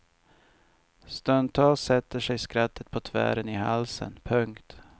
Stundtals sätter sig skrattet på tvären i halsen. punkt